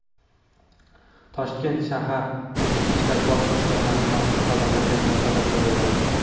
Toshkent shahar Ichki ishlar bosh boshqarmasi mazkur xabarlarga munosabat bildirdi.